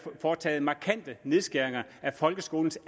foretaget markante nedskæringer af folkeskolens